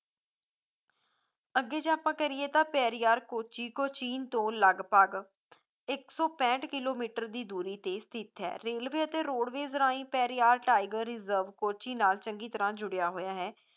ਅੱਗੇ ਜੇ ਆਪਾਂ ਕਰੀਏ ਤਾਂ ਪੈਰੀਆਰ ਕੋਚੀ ਕੋਚੀਨ ਤੋਂ ਲਗਭਗ ਇੱਕ ਸੌ ਪੈਂਹਟ ਕਿਲੋਮੀਟਰ ਦੀ ਦੂਰੀ ਤੇ ਸਥਿਤ ਹੈ ਰੇਲਵੇ ਅਤੇ ਰੋਡਵੇਜ਼ ਰਾਂਹੀ ਪੈਰੀਆਰ tiger reserve ਕੋਚੀ ਨਾਲ ਚੰਗੀ ਤਰ੍ਹਾਂ ਜੁੜਿਆ ਹੋਇਆ ਹੈ